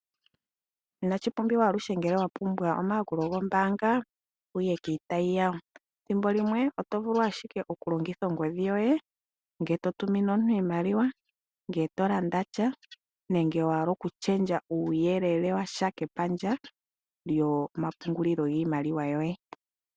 Inashi pumbwa aluhe ngele wapumbwa omayakulo gombaanga wuye kiitayi yawo ethimbolimwe otovulu ashike okulongitha ongodhi yoye ngele to tumine omuntu iimaliwa, ngele to landa sha ,nenge wahala oku lundulula uuyele wontumba kepandja lyomapungulilo giimaliwa yoye.